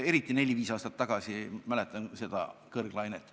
Eriti neli-viis aastat tagasi mäletan seda kõrglainet.